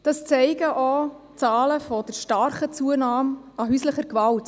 Das zeigen auch die stark zunehmenden Zahlen bei der häuslichen Gewalt.